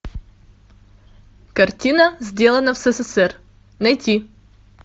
картина сделано в ссср найти